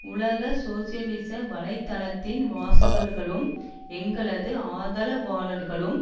உலக சோசியலிச வலை தளத்தின் வாசகர்களும் எங்களது ஆதரவாளர்களும்